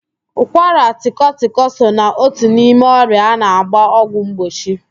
Ụkwaratịkọtịkọ so na otu n'ime ọrịa a na-agbara ọgwụ mgbochi